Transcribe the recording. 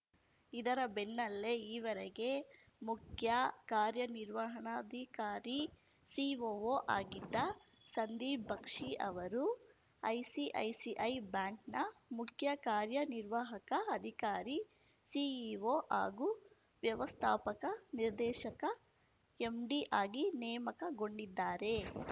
ಇದರ ಬೆನ್ನಲ್ಲೇ ಈವರೆಗೆ ಮುಖ್ಯ ಕಾರ್ಯನಿರ್ವಹಣಾಧಿಕಾರಿ ಸಿಒಒ ಆಗಿದ್ದ ಸಂದೀಪ್‌ ಬಕ್ಷಿ ಅವರು ಐಸಿಐಸಿಐ ಬ್ಯಾಂಕ್‌ನ ಮುಖ್ಯ ಕಾರ್ಯನಿರ್ವಾಹಕ ಅಧಿಕಾರಿ ಸಿಇಒ ಹಾಗೂ ವ್ಯವಸ್ಥಾಪಕ ನಿರ್ದೇಶಕ ಎಂಡಿ ಆಗಿ ನೇಮಕಗೊಂಡಿದ್ದಾರೆ